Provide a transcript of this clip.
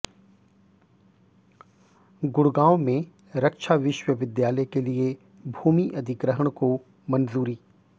गुडग़ांव में रक्षा विश्वविद्यालय के लिए भूमि अधिग्रहण को मंजूरी